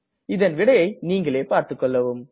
இதன் விடையை நீங்களே பார்த்துக்கொள்ளவும்